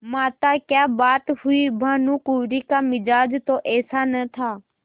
माताक्या बात हुई भानुकुँवरि का मिजाज तो ऐसा न था